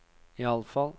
iallfall